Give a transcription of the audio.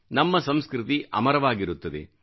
ನಮ್ಮ ಸಂಸ್ಕೃತಿ ಅಮರವಾಗಿರುತ್ತದೆ